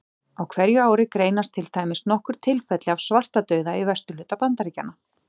Á hverju ári greinast til dæmis nokkur tilfelli af svartadauða í vesturhluta Bandaríkjanna.